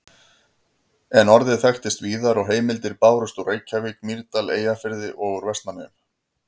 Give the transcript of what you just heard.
En orðið þekktist víðar og heimildir bárust úr Reykjavík, Mýrdal, Eyjafirði og úr Vestmannaeyjum.